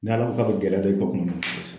N'ala ko k'a be gɛlɛya don i ka kuma